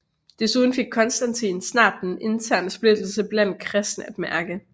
Desuden fik Konstantin snart den interne splittelse blandt kristne at mærke